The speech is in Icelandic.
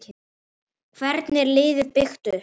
Hvernig er liðið byggt upp?